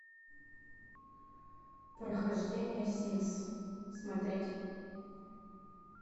прохождение симс смотреть